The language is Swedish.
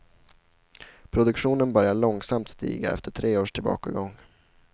Produktionen börjar långsamt stiga efter tre års tillbakagång.